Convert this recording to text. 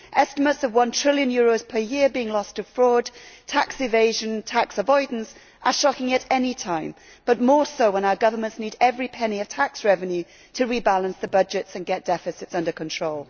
Estimates of one trillion euros per year being lost to fraud, tax evasion and tax avoidance are shocking at any time, but more so when our governments need every penny of tax revenue to rebalance their budgets and get deficits under control.